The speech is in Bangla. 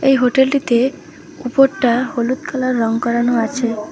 এই হোটেলটিতে উপরটা হলুদ কালার রং করানো আছে।